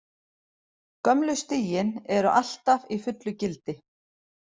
Gömlu stigin eru alltaf í fullu gildi.